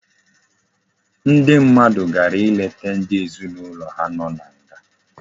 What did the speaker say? Ndi mmadu gara leta ndi ezinaulo ha no na nga